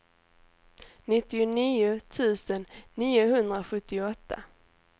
nittionio tusen niohundrasjuttioåtta